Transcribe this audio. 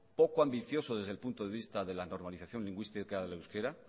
poco ambicioso desde el punto de vista desde la normalización lingüística del euskera